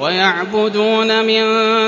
وَيَعْبُدُونَ مِن